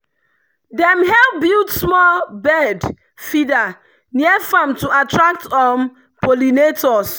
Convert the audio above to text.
dem help build small bird feeder near farm to attract um pollinators.